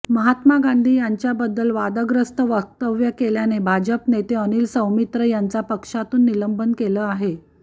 महात्मा गांधी यांच्याबद्दल वादग्रस्त वक्तव्य केल्याने भाजप नेते अनिल सौमित्र यांच पक्षातून निलंबन केले आहे